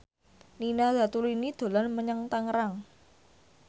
Nina Zatulini dolan menyang Tangerang